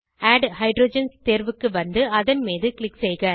add hydrogens தேர்வுக்கு வந்து அதன் மீது க்ளிக் செய்க